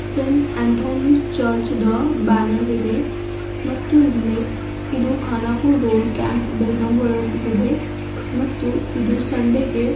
''saint Anthony's church ದ banner ಇದೆ ಮತ್ತು ಇಲ್ಲಿ ಇದು ಖಾನಾಪುರ್ ರೋಡ್ ಕ್ಯಾಂಪ್ ಬೆಳಗಾವಿ ಒಳಗೆ ಇದೆ ಮತ್ತು ಇದು ಸಂಡೆಗೆ --''